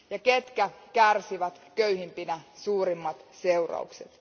Ketkä kärsivät köyhimpinä suurimmat seuraukset?